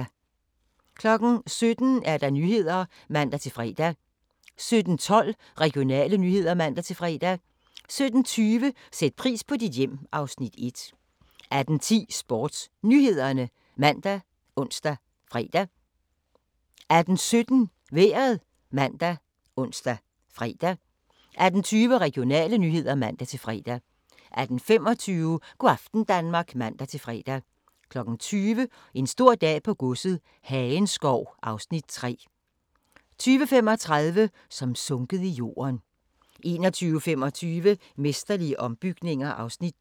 17:00: Nyhederne (man-fre) 17:12: Regionale nyheder (man-fre) 17:20: Sæt pris på dit hjem (Afs. 1) 18:10: SportsNyhederne ( man, ons, fre) 18:17: Vejret ( man, ons, fre) 18:20: Regionale nyheder (man-fre) 18:25: Go' aften Danmark (man-fre) 20:00: En stor dag på godset - Hagenskov (Afs. 3) 20:35: Som sunket i jorden 21:25: Mesterlige ombygninger (Afs. 2)